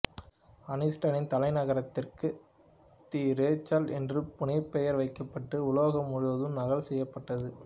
அனிஸ்டனின் தலையலங்காரத்திற்கு the Rachel என்று புனைப்பெயர் வைக்கப்பட்டு உலகம் முழுவதிலும் நகல் செய்யப்பட்டது